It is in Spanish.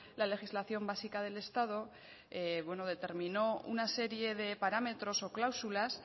la legislación básica del estado determinó una serie de parámetros o cláusulas